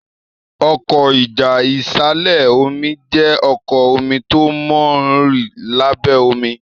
Ọkọ́ ìjà ìsàlẹ̀-omi jé ọkọ́ omí tó món rìn lábé omí.